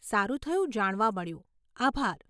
સારું થયું જાણવા મળ્યું, આભાર.